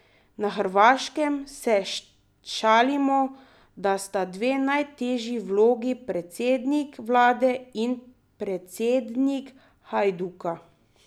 Na Hrvaškem se šalimo, da sta dve najtežji vlogi predsednik vlade in predsednik Hajduka.